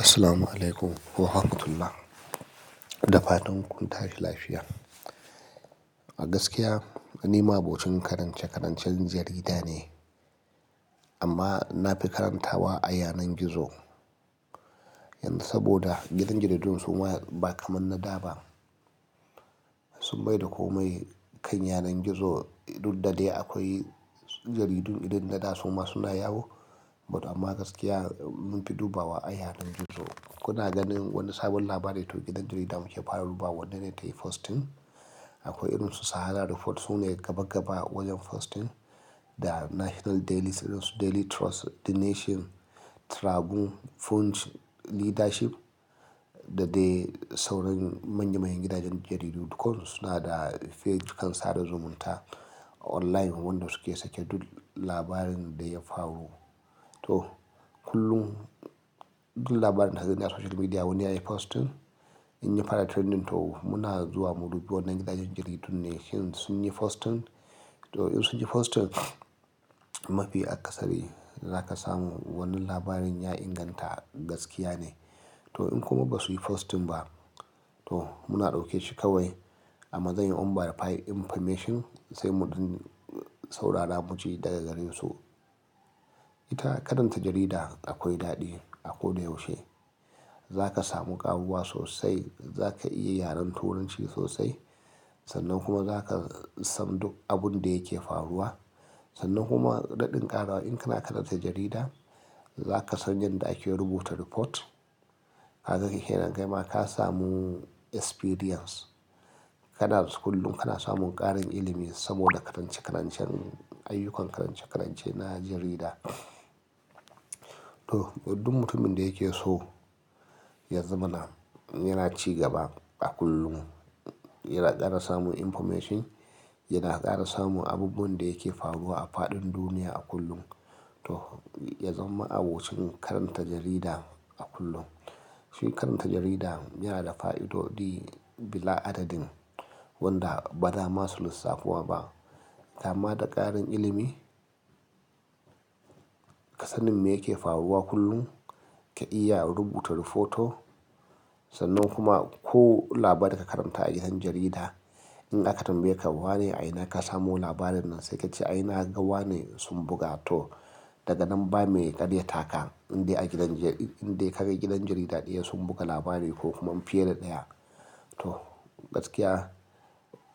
Assalamualaikum warahmatullahi da fatan kun tashi lafiya. A gaskiya ni ma abocin karance-karancen jarida ne, amma na fi karantawa a yanar gizo. Yanzu saboda gidan jaridun suma ba kamar na da ba. Sun maida komai kan yanar gizo, duk da dai akwai jaridu irin na da suma suna yawo, but amma gaskiya mun fi dubawa a yanar gizo. Kuna ganin wani sabon labari to gidan jarida muke fara dubawa, wannene ne tayi posting. Akwai irin su Sahara Report sune gaba gaba wajen posting, da National Daily, Daily Trust, The Nation, Tribuna, Punch, Leadership da dai sauran manyan manyan gidajen jaridu duk suna da peji kan sada zumunta online wanda su ke sake duk labarin da ya faru. To, kullum duk labarin da ka gani a social media wani yayi posting in ya fara trending to muna zuwa mu dubi wannan gidajen jaridun ne shin sun yi posting. To, in sun yi posting mafi akasari za ka samu wannan labarin ya inganta gaskiya ne. To, in kuma ba su yi posting ba to muna ɗauke shi kawai ama tsayin unverified information sai muɗan saurara mu ji daga gare su. Ita karanta jarida akwai daɗi a ko da yaushe. Za ka samu ƙaruwa sosai, za ka iya yaren turanci sosai, sannan kuma za ka san duk abun da yake faruwa. Sannan kuma ma daɗin ƙarawa in kana karanta jarida za ka san yanda ake rubuta report. Kaga kenan, kaima ka samu experience. Kana school kana samun ƙarin ilimi saboda karance-karancen, ayyukan karance-karance na jarida. To, duk mutumin da yake so ya zama na yana cigaba a kullum, yana ƙara samun information, yana ƙara samun abubuwan da yake faruwa a faɗin duniya a kullum. To, ya zama abokin karanta jarida a kullum. Shi karanta jarida yana da fa'idodi bila adadin wanda ba za ma su lissafu ba. Kama da ƙarin ilimi, ka san me yake faruwa kullum, ka iya rubuta reporto, sannan kuma ko labari ka karanta a gidan jarida in aka tambaye ka wane a ina ka samu labarin nan sai ka ce a ina gawa ne sun buga to daga nan ba mai ƙaryata ka in dai a gidan in dai ka ga gidan jarida ɗaya sun buga labari ko kuma fiye da ɗaya. To, gaskiya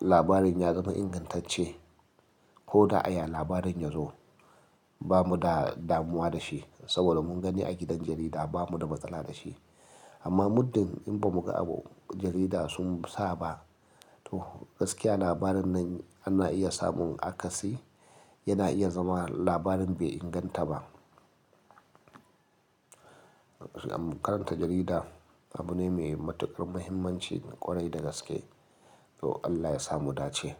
labarin ya zama ingantacce ko da aya labarin yazo bamu damuwa da shi saboda mun gani a gidan jarida bamu da matsala da shi. Amma muddin in ba mu ga abun jarida sun sa ba to gaskiya labarin nan ana iya samun akasi yana iya zama labarin bai inganta ba. Karanta jarida abu ne mai matukar muhimmanci ƙwarai da gaske. To, Allah ya samu dace.